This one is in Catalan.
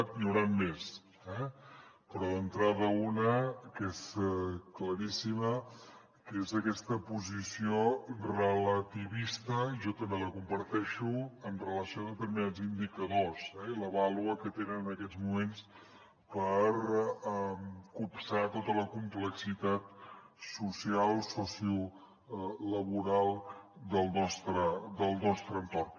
n’hi hauran més eh però d’entrada una que és claríssima que és aquesta posició relativista jo també la comparteixo amb relació a determinats indicadors i la vàlua que tenen en aquests moments per copsar tota la complexitat social sociolaboral del nostre entorn